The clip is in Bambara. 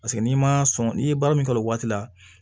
Paseke n'i ma sɔn n'i ye baara min kɛ o waati la